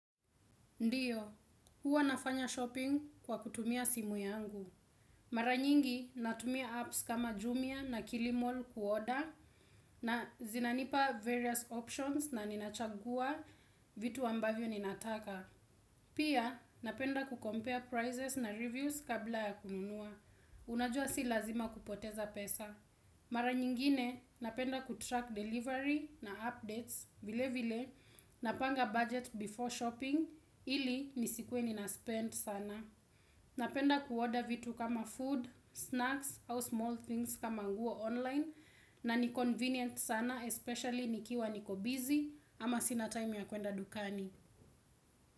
Ndiyo, huwa nafanya shopping kwa kutumia simu yangu. Mara nyingi natumia apps kama Jumia na Killmall kuorder. Na zinanipa various options na ninachagua vitu ambavyo ninataka. Pia napenda kucompare prizes na reviews kabla ya kununua. Unajua si lazima kupoteza pesa. Mara nyingine napenda kutrack delivery na updates vile vile na panga bajeti before shopping ili nisikwe nina spend sana. Napenda kuorder vitu kama food, snacks au small things kama nguo online na ni convenient sana especially nikiwa niko busy ama sina time ya kuenda dukani.